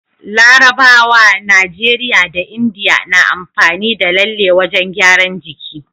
Larabawa, Nigeria da India na amfani da lalle wajan gyaran jiki